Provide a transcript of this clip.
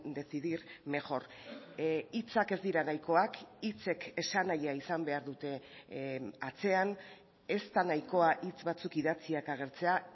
decidir mejor hitzak ez dira nahikoak hitzek esanahia izan behar dute atzean ez da nahikoa hitz batzuk idatziak agertzea